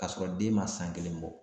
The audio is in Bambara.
K'a sɔrɔ den ma san kelen bɔ